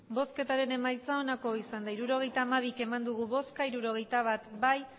emandako botoak hirurogeita hamabi bai hirurogeita bat ez